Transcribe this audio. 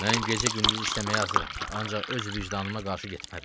Mən gecə-gündüz işləməyə hazıram, ancaq öz vicdanıma qarşı getmərəm.